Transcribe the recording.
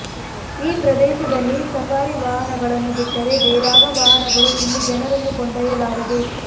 ಈ ಪ್ರದೇಶದಲ್ಲಿ ಸಫಾರಿ ವಾಹನಗಳನ್ನು ಬಿಟ್ಟರೆ ಬೇರಾವ ವಾಹನಗಳೂ ಇಲ್ಲಿ ಜನರನ್ನು ಕೊಂಡೊಯ್ಯಲಾರದು